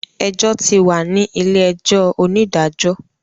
Ẹjọ́ ti wà ní ilé-ẹjọ́ onídàájọ.